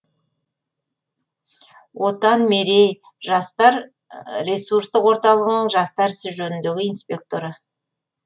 отан мерей жастар ресурстық орталығының жастар ісі жөніндегі инспекторы